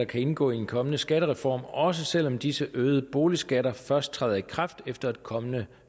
kan indgå i en kommende skattereform også selv om disse øgede boligskatter først træder i kraft efter et kommende